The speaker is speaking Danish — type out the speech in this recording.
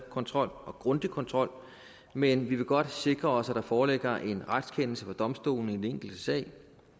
kontrol og grundig kontrol men vi vil godt sikre os at der foreligger en retskendelse fra domstolene i den enkelte sag